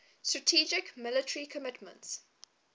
strategic military commitments